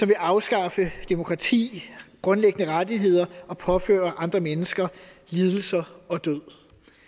vil afskaffe demokrati grundlæggende rettigheder og påføre andre mennesker lidelser og død